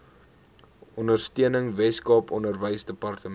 ondersteuning weskaap onderwysdepartement